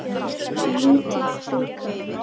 Lítill bikar.